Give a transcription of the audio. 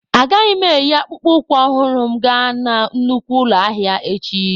Agaghị m eyi akpụkpọ ụkwụ ọhụrụ m gaa na nnukwu ụlọ ahịa echi